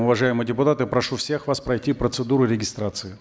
уважаемые депутаты прошу всех вас пройти процедуру регистрации